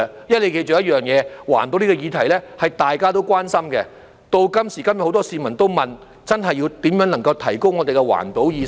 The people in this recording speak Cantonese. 要記着一點，環保這個議題是大家都關心的，時至今日，很多市民都提出要研究如何提高我們的環保意識。